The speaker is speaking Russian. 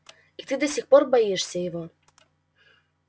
и ты до сих пор боишься его